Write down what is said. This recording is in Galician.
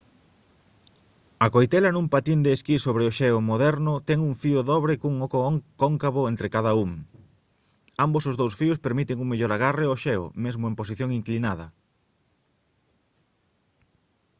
a coitela nun patín de esquí sobre xeo moderno ten un fío dobre cun oco cóncavo entre cada un ambos os dous fíos permiten un mellor agarre ao xeo mesmo en posición inclinada